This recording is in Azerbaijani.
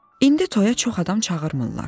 İndi toya çox adam çağırmırlar.